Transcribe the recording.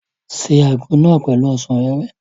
Ṣe àgbo náà pẹ̀lú ọsàn wẹ́wẹ́!